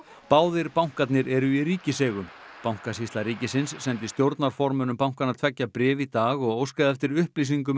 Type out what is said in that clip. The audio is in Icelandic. báðir bankarnir eru í ríkiseigu bankasýsla ríkisins sendi stjórnarformönnum bankanna tveggja bréf í dag og óskaði eftir upplýsingum